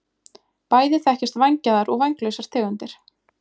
bæði þekkjast vængjaðar og vænglausar tegundir